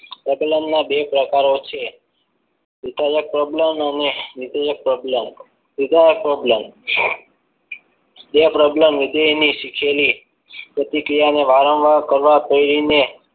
પ્રબલન ના બે પ્રકારો છ વિધાયક પ્રબલન અને નિયમક પ્રબલન વિધાયક પ્રબલન તે પ્રબલન વિજયની શીખેલી પ્રતિક્રિયાને વારંવાર કરવા રહેલી.